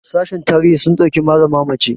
sashen tarihi sun ɗauki malama mace